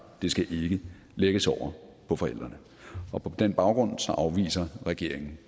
skal ikke lægges over på forældrene på den baggrund afviser regeringen